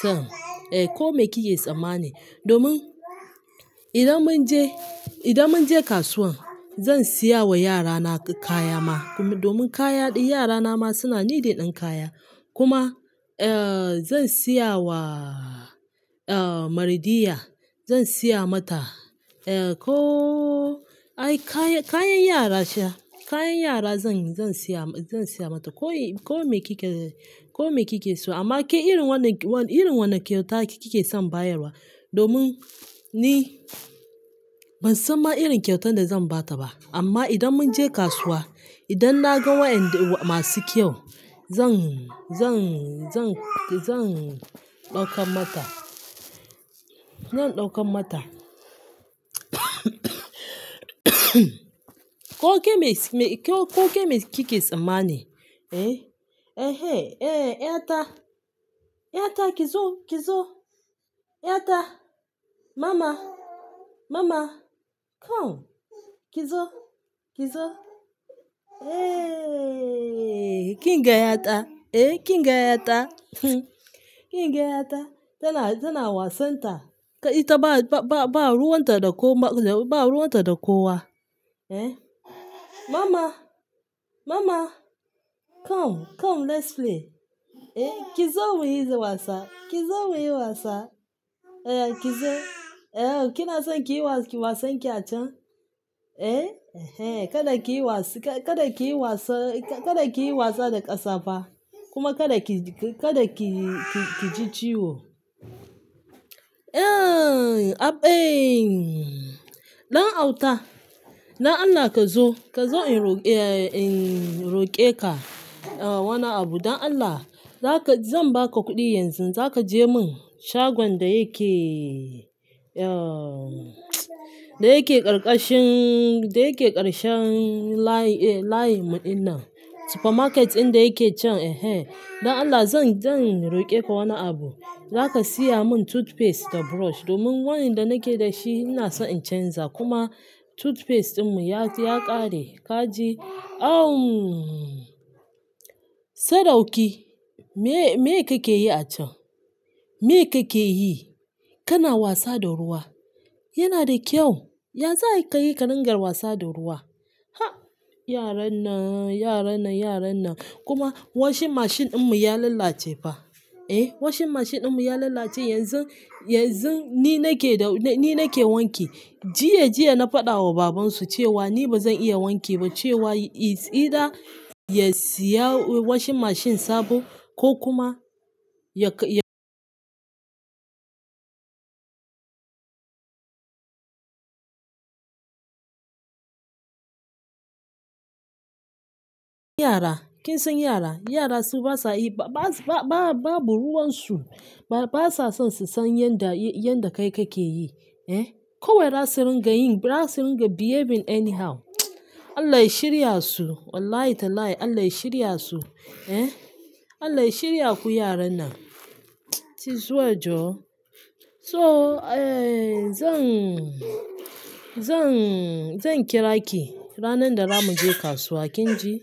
son, eh, ko me kike tsammani. Domin idan mun je, idan mun je kasuwan zan siya wa yara na kaya ma. Kuma domin kaya ɗin yara na ma suna need ɗin kaya. Kuma, eh, zan siya wa, eh, Mardiya. Zan siya mata, eh, ko, ai, kayan, kayan yara ce. Kayan yara zan, zan siya, zan siya mata. Ko, ko me kike, ko me kike so. Amma ke irin wane, irin wane kyauta ke kike son bayarwa? Domin ni ban san ma irin kyautan da zan ba ta ba. Amma idan mun je kasuwa, idan na ga waɗanda masu kyau zan, zan, zan, zan ɗauka mata. Zan ɗauka mata. Ko me, ko me kike tsammani, eh? Ehe, eh, ƴata, ƴata, ki zo, ki zo. Ƴata, mama, mama, come, ki zo, ki zo. Eh, kin ga ƴata? Eh, kin ga ƴata? Kin ga ƴata? Tana, tana wasan ta. Ita ba, ba, ba, ba ruwan ta da ko ma, ba ruwan ta da kowa, eh? Mama, mama, come, come let's play. Eh, ki zo muyi wasa. Ki zo muyi wasa. Eya ki zo. Eh, kina son kiyi wasan ki a can? Eh, ehen, kada kiyi wasa, kada kiyi wasa, kada kiyi wasa da ƙasafa. Kuma kada ki, kada ki, ki ji ciwo. Eh, ab ein. Ɗan auta. Dan Allah ka zo. Ka zo in roƙe, eh, in roƙe ka. Eh, wani abu. Dan Allah. Zaka-- zan ba ka kuɗi yanzu, za ka je mun shagon da yake, eh, da yake karkashin, da yake karshen layin, eh, layinmu ina. Supermarket ɗin da yake can. Ehe. Dan Allah zan, zan roƙe ka wani abu. Za ka siya mun toothpaste da brush. Domin waɗanda nake da shi ina son in canza. Kuma toothpaste ɗinmu ya, ya ƙare. Ka je-- awwn. Sadauki. Me, me kake yi a can? Me kake yi? Kana wasa da ruwa. Yana da kyau. Ya za kayi ka ringa wasa da ruwa? Ha! Yaran nan, yaran nan, yaran nan. Kuma washing machine ɗinmu ya lalace ba. Eh, washing machine ɗinmu ya lalace. Yanzu, yanzu ni nake da, ni nake wanke. Jiya, jiya na faɗa wa babansu cewa ni ba zan iya wanke ba. Cewa idan ya siya washing machine sabo ko kuma ya ka, ya- Yara. Kin san yara. Yara su basa yi, ba, ba, ba, babu ruwan su. Ba, basa son su san yanda, yanda kai kake yi. Eh, kawai za su ringa yin, za su ringa behaving anyhow. Allah ya shirya su. Wallahi tallahi Allah ya shirya su. Eh, Allah ya shirya ku yaran nan. "She's so adorable." So, eh, zan, zan, zan kira ki ranar da zamu je kasuwa, kin ji?